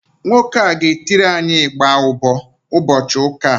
Nwoke a ga-etiri anyị ịgba ụbọ ụbọchị ụka a